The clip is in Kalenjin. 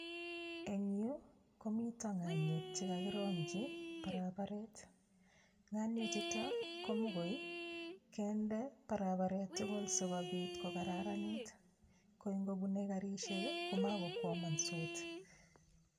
Eng yu komito ng'aniek che kakirong'chi barabaret, nganie chuto komokoi ii, kende barabaret tugul so kobit kokararanit, koi ngobunei garisiek ii ko makokwamansot.